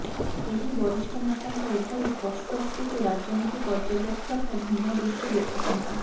ଏହି ବରିଷ୍ଠ ନେତାଙ୍କ ଏଭଳି ସ୍ପଷ୍ଟୋକ୍ତିକୁ ରାଜନୀତି ପର୍ଯ୍ୟବେକ୍ଷକ ଭିନ୍ନ ଦୃଷ୍ଟି ଦେଖୁଛନ୍ତି